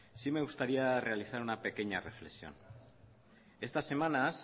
sí me gustaría realizar una pequeña reflexión estas semanas